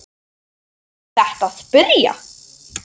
Er þetta að byrja?